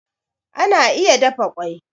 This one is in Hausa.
Ana iya dafa kwai